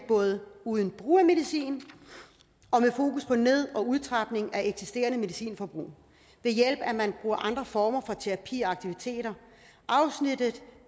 uden brug af medicin og med fokus på ned og udtrapning af eksisterende medicinforbrug og ved hjælp af andre former for terapi og aktiviteter afsnittet